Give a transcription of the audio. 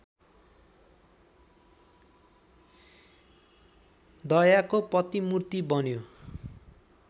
दयाको प्रतिमूर्ति बन्यो